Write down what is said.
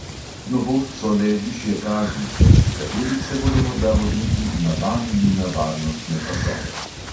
Novost so le višje kazni, zaradi katerih se bodo morda vozniki "navadili" na varnostne pasove.